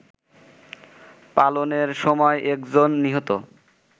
পালনের সময় একজন নিহত